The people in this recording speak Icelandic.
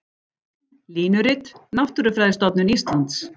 Línurit: Náttúrufræðistofnun Íslands.